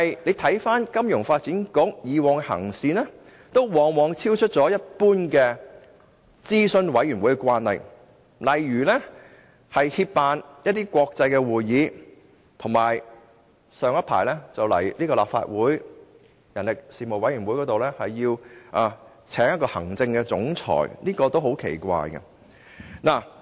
然而，金發局過往的行事方式卻往往超出一般諮詢委員會的慣例，例如協辦國際會議，以及早前向立法會人力事務委員會提出聘請一位行政總裁等，這些都是很奇怪的做法。